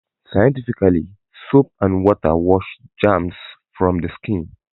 Scientifically, soap and water wash germs from the skin.